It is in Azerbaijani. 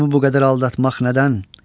Qəlbimi bu qədər aldatmaq nədən?